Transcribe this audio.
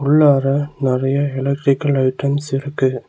உள்ளார நெறைய electrical items இருக்கு.